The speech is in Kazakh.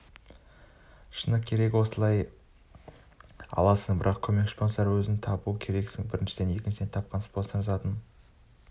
керек иә осылай аласың бірақ көмекші спонсорды өзің табу керексің біріншіден екіншіден тапқан спонсордың затын